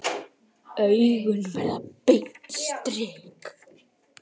Augun verða beint strik.